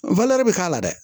bɛ k'a la dɛ